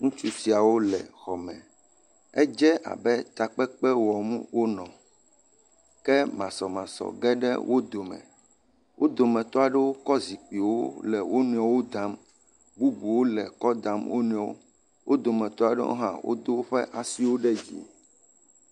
Ŋutsu siawo le xɔ me, edze abe takpekpe wɔm wo nɔ, ke masɔmasɔ ge ɖe wo dome, wo dometɔ aɖewo kɔ zikpuiwo le wo nɔewo dam, bubuwo le kɔ dam wo nɔewo.